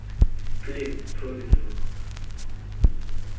please promise me